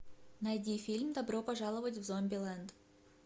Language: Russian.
найди фильм добро пожаловать в зомбилэнд